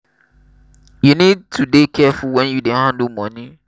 you need to dey careful wen you dey handle money.